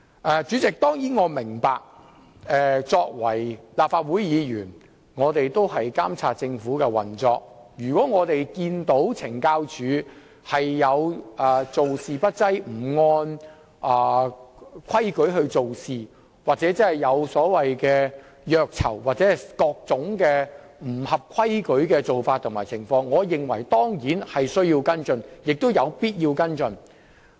我當然明白作為立法會議員，我們須監察政府的運作，如發現懲教署做事不濟、不按規矩辦事，又或出現虐囚或各種不合規矩的做法和情況時，我當然也認為有需要而且必須跟進。